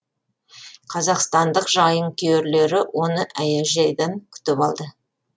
қазақстандық жайынкүйерлері оны әуежайдан күтіп алды